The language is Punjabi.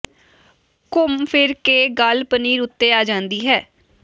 ਘੁੰਮ ਫਿਰ ਕੇ ਗੱਲ ਪਨੀਰ ਉੱਤੇ ਆ ਜਾਂਦੀ ਹੈ